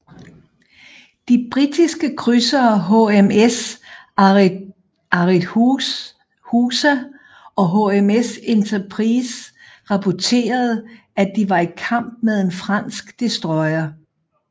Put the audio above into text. De britiske krydsere HMS Arethusa og HMS Enterprise rapporterede at de var i kamp med en fransk destroyer